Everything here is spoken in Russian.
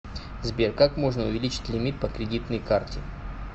сбер как можно увеличить лимит по кредитной карте